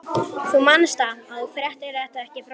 Þú manst það, að þú fréttir þetta ekki frá mér.